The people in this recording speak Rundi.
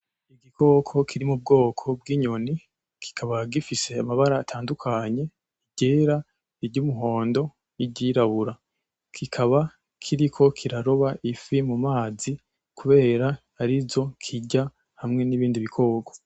Igikoko kiri mu bwoko bw'inyoni kikaba gifise amabara atandukanye iryera, iryumuhondo n'iryirabura kikaba kiriko kiraroba ifi mu mazi kubera arizo kirya hamwe n'ibindi bikoko.